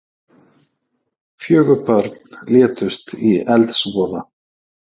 Fjögur börn létust í eldsvoða